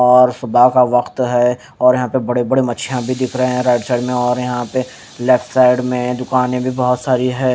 और सुबह का वक्त है और यहा पे बड़े बड़े मछिया भी दिख रहे है राईट साइड में और यहा पे लेफ्ट साइड में दुकाने भी बहोत सारी है।